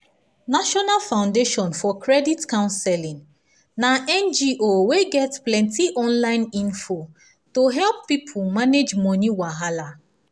national foundation for credit counseling na ngo wey get plenty online info to help people manage money wahala